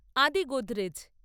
আদি গোদরেজ